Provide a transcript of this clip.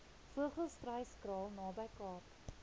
vogelstruyskraal naby kaap